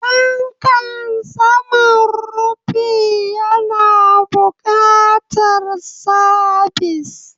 Fankan saman rufi yana buƙatar sabis.